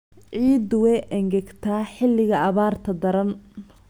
Ciiddu way engegtaa xilliga abaarta daran.